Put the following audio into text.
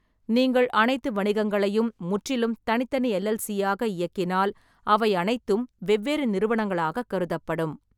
நீங்கள் அனைத்து வணிகங்களையும் முற்றிலும் தனித்தனி எல்.எல்.சி.யாக இயக்கினால், அவை அனைத்தும் வெவ்வேறு நிறுவனங்களாகக் கருதப்படும்.